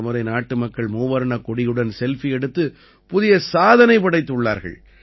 இந்த முறை நாட்டு மக்கள் மூவர்ணக் கொடியுடன் செல்ஃபி எடுத்து புதிய சாதனை படைத்துள்ளார்கள்